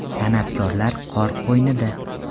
San’atkorlar qor qo‘ynida .